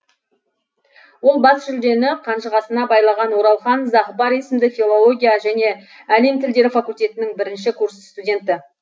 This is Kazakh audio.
ол бас жүлдені қанжығасына байлаған оралхан зағыпар есімді филология және әлем тілдері факультетінің бірінші курс студенті